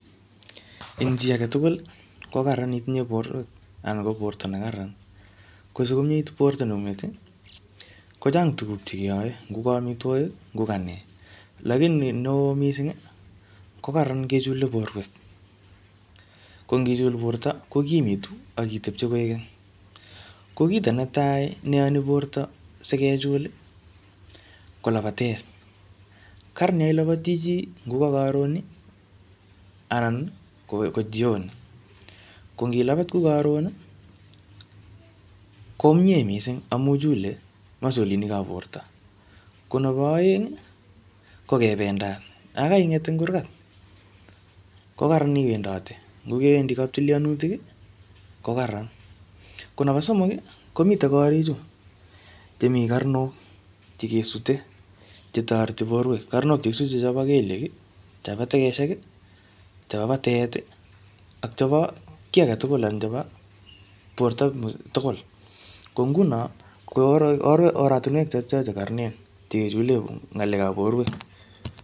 Eng chi age tugul, ko kararan itinye borwek anan ko borto ne kararan. Ko sikomiet borto neng'ung'et, kochang tuguk che keyae, ngo ka amitwogik, ngo ka nee. Lakini neoo missing, ko kararan kechule borwek. Ko ng'ichul borto, kokimitu, akitepchei koek keny. Ko kito netai ne iyoni borto sikechul ,ko labatet. Kararan yo ilabati chi, ngo ka karon, anan ko ka jioni. Ko ngi labat kou karon, ko mie missing amu chule masolinik ap borto. Ko nebo aeng, ko kebendat. Yakaing'et ing kurkat, ko kararan iwendate. Ngo kewendi kap tilianutik, ko kararan. Ko nebo somok, komitey korik chu, che mii karnok, che kesute, che toreti borwek. Karnok che kisute chobo kelyek, chobo tegeshek, chobo batet, ak chebo kiy age tugul anan chebo borto tugul. Ko nguno, ko oratunwek chotocho che kararanen, che kechule ngalek ap borwek.